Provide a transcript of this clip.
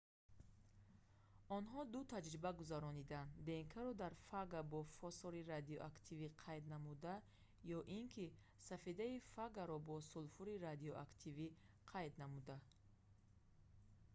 онҳо ду таҷриба гузарониданд днк-ро дар фага бо фосори радиоактивӣ қайд намуда ё ин ки сафедаи фагаро бо сулфури радиоактивӣ қайд намуда